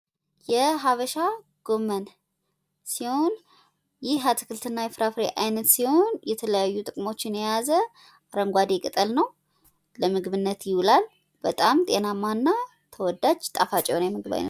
የሀበሻ ጎመን ሲሆን ይህ አትክልትና ፍራፍሬ የተለያየ ጥቅሞችን የያዘ አረንጓዴ ቅጠል ነው ።ለምግብነት ይውላል። በጣም ተወዳጅ እና ጣፋጭ የምግብ አይነት ነው ።